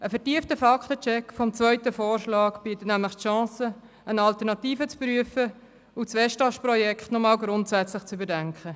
Ein vertiefter Fakten-Check vom zweiten Vorschlag bietet die Chance, noch eine Alternative zu prüfen und das Westast-Projekt noch einmal grundsätzlich zu überdenken.